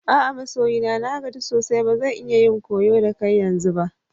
A'a masoyi na. Na gaji sosai ba zan iya yin koyo da kai yanzu ba.